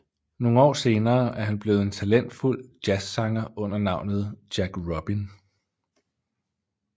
Nogle år senere er han blevet en talentfulld jazzsanger under navnet Jack Robin